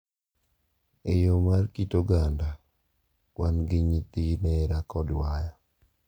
e yo mar kit oganda, wan gi nyithi nera kod waya.